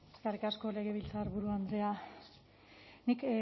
eskerrik asko legebiltzarburu andrea nik